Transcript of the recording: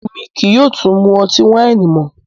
Ẹ̀mi kíí yóò tún mú ọ̀tí-waini mọ